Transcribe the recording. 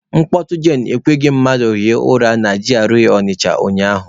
Mkpọtụ jen ekweghị mmadụ rahụọ ụra na G.R.A Ọnịcha ụnyaahụ.